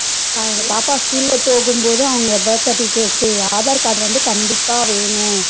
பாப்பா school ல போகும் போது அவங்க birth ceritificates, aadhar card வந்து கண்டிப்பா வேணும்